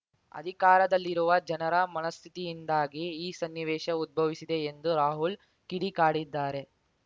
ಅಧಿಕಾರದಲ್ಲಿರುವ ಜನರ ಮನಸ್ಥಿತಿಯಿಂದಾಗಿ ಈ ಸನ್ನಿವೇಶ ಉದ್ಭವಿಸಿದೆ ಎಂದು ರಾಹುಲ್‌ ಕಿಡಿಕಾಡಿದ್ದಾರೆ